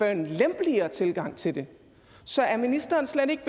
en lempeligere tilgang til det så er ministeren slet ikke